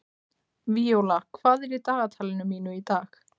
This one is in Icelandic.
Víóla, hvað er í dagatalinu mínu í dag?